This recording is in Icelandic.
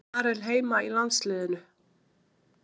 Á Marel heima í landsliðinu?